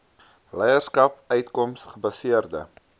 leierskap uitkoms gebaseerde